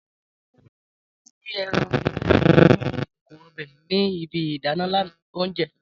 Tade n ji eran lati inu ikoko ọbẹ ni ibi idana oúnjẹ.